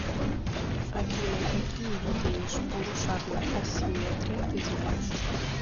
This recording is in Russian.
афина какие виды межполушарная асимметрия ты знаешь